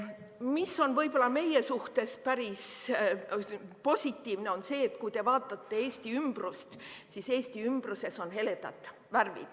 Mis on võib-olla meie suhtes päris positiivne, on see, et kui te vaatate Eesti ümbrust, siis Eesti ümbruses on heledad värvid.